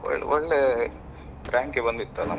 ಒಳ್ಳೆ ಒಳ್ಳೆ rank ಯೇ ಬಂತಿತ್ತಲ್ಲಮ್ಮ.